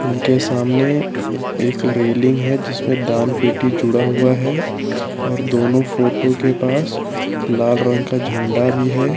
उनके सामने एक रेलिंग है जिसपे दान पेटी जुड़ा हुआ है और दोनों फोटो के पास लाल रंग का झंडा भी है।